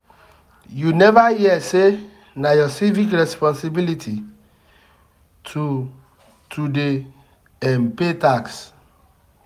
You neva hear sey na your civic responsibility to, to dey pay tax?